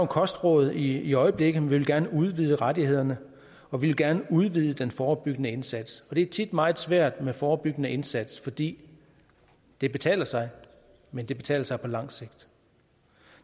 kostråd i øjeblikket men vi vil gerne udvide rettighederne og vi vil gerne udvide den forebyggende indsats det er tit meget svært med forebyggende indsatser fordi det betaler sig men det betaler sig på lang sigt